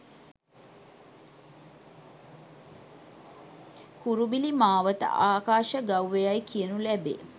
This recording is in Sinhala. කුරුබිලි මාවත ආකාශ ගව්ව යැයි කියනු ලැබේ.